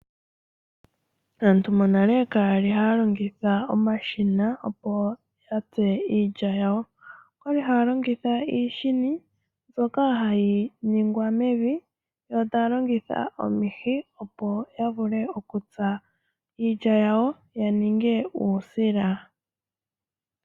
Aantu monale ka yali haya longitha omashina opo yatse iilya yawo, okwa li ha ya longitha iishini mbyoka ha yi ningwa mevi, yo ta ya longitha omihi opo ya vule okutsa iilya yawo ya ninge uusila.